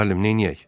Müəllim, neyniyək?